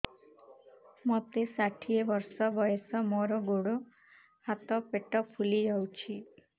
ମୋତେ ଷାଠିଏ ବର୍ଷ ବୟସ ମୋର ଗୋଡୋ ହାତ ପେଟ ଫୁଲି ଯାଉଛି